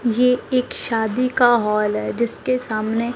ये एक शादी का हॉल है जिसके सामने--